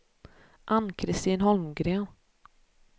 Ann-Christin Holmgren